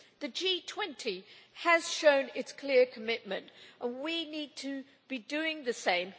The G20 has shown its clear commitment and we need to be doing the same.